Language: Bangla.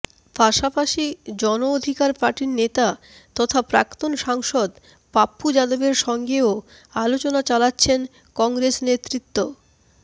পাশাপাশি জন অধিকার পার্টির নেতা তথা প্রাক্তন সাংসদ পাপ্পু যাদবের সঙ্গেও আলোচনা চালাচ্ছেন কংগ্রেস নেতৃত্ব